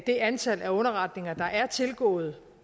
det antal af underretninger der er tilgået